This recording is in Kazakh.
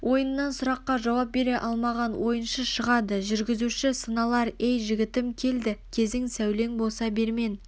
ойыннан сұраққа жауап бере алмаған ойыншы шығады жүргізуші сыналар ей жігітім келді кезің сәулең болса бермен